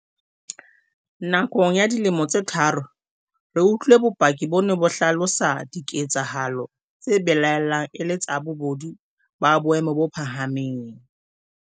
Nakong ya dilemo tse tharo, re utlwile bopaki bo neng bo hlalosa diketsa halo tse belaellwang e le tsa bobodu ba boemo bo phahameng.